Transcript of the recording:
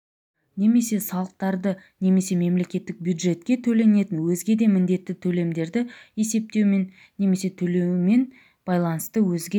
немесе салықтарды немесе мемлекеттік бюджетке төленетін өзге де міндетті төлемдерді есептеумен немесе төлеумен байланысты өзге